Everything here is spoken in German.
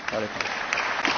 Vielen Dank, Herr